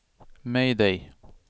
mayday